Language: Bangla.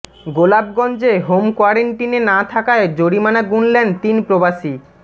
গোলাপগঞ্জে হোম কোয়ারেন্টিনে না থাকায় জরিমানা গুনলেন তিন প্রবাসী